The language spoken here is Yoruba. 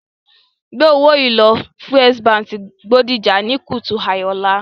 Gbé owó yìí lọ First Bank Bodija ní kùtù hàì ọ̀la